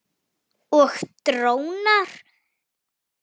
Og drónar.